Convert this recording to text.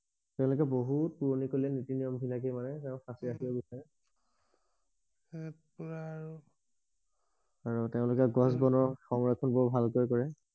তেওঁলোকে বহুত পুৰণি কালি নীতি নিয়ম বিলাকে মানে তেওঁলোকে সাঁচি ৰাখিব বিচাৰে আৰু কোৱা আৰু আৰু তেওঁলোকে গছ বনৰ সংৰক্ষন বৰ ভালকৈ কৰে